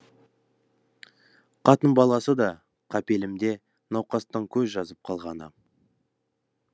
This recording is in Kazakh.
қатын баласы да қапелімде науқастан көз жазып қалғаны